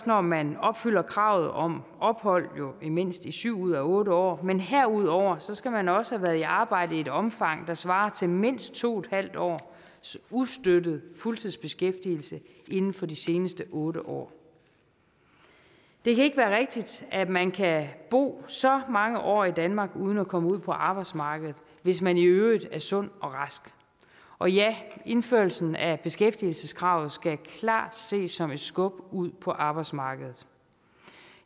når man opfylder kravet om ophold i mindst syv ud af otte år men herudover skal man også have været i arbejde i et omfang der svarer til mindst to en halv års ustøttet fuldtidsbeskæftigelse inden for de seneste otte år det kan ikke være rigtigt at man kan bo så mange år i danmark uden at komme ud på arbejdsmarkedet hvis man i øvrigt er sund og rask og ja indførelsen af beskæftigelseskravet skal klart ses som et skub ud på arbejdsmarkedet